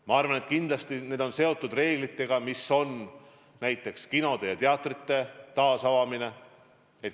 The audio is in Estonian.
Ma arvan, et kindlasti lükkub edasi näiteks kinode ja teatrite taasavamine.